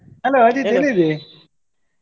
Hello ?